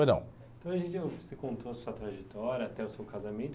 você contou a sua trajetória até o seu casamento.